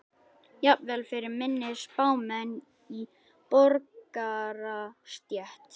Jafnvel fyrir minni spámenn í borgarastétt.